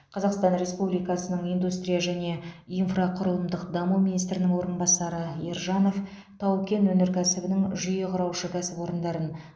қазақстан республикасының индустрия және инфрақұрылымдық даму министрінің орынбасары ержанов тау кен өнеркәсібінің жүйе құраушы кәсіпорындарын